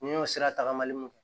N y'o sira tagamali mun fɔ